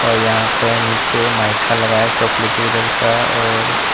और यहां पे नीचे माइका लगा है चॉकलेटी कलर का और--